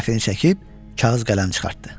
Rəfini çəkib kağız qələm çıxartdı.